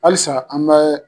Halisa an bɛ